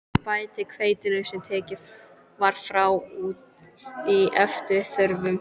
Bætið hveitinu, sem tekið var frá, út í eftir þörfum.